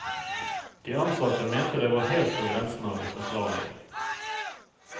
De ansatte mente det var helt på grensen av det forsvarlige.